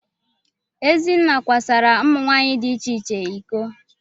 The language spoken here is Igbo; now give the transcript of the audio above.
Ezenna kwasara ụmụ nwaanyị di iche iche iko.